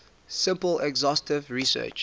simple exhaustive searches